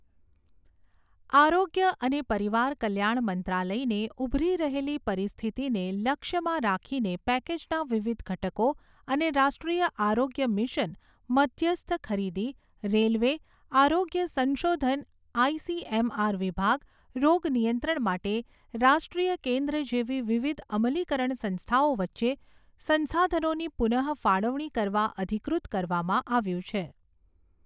આરોગ્ય અને પરિવાર કલ્યાણ મંત્રાલયને ઉભરી રહેલી પરિસ્થિતિને લક્ષ્યમાં રાખીને પેકેજના વિવિધ ઘટકો અને રાષ્ટ્રીય આરોગ્ય મિશન, મધ્યસ્થ ખરીદી, રેલવે, આરોગ્ય સંશોધન આઈસીએમઆર વિભાગ, રોગ નિયંત્રણ માટે રાષ્ટ્રીય કેન્દ્ર જેવી વિવિધ અમલીકરણ સંસ્થાઓ વચ્ચે સંશાધનોની પુનઃફાળવણી કરવા અધિકૃત કરવામાં આવ્યું છે.